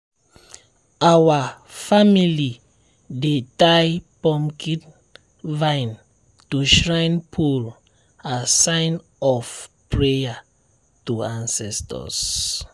our family dey tie pumpkin vine to shrine pole as sign of prayer to ancestors.